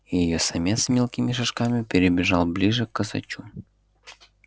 и её самец мелкими шажками перебежал ближе к косачу